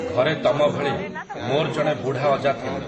ଘରେ ତମ ଭଳି, ମୋର୍ ଜଣେ ବୁଢ଼ା ଅଜା ଥିଲେ ।